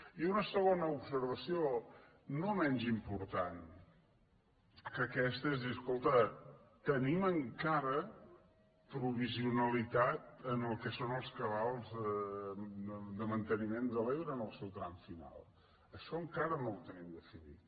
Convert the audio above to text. i una segona observació no menys important que aquesta és dir escolta tenim encara provisionalitat en el que són els cabals de manteniment de l’ebre en el seu tram final això encara no ho tenim definit